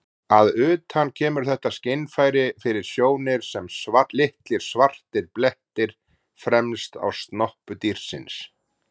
Að utan kemur þetta skynfæri fyrir sjónir sem litlir svartir blettir fremst á snoppu dýrsins.